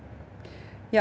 já